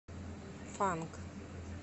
фанк